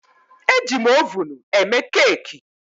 Ejim ovunụ eme keeki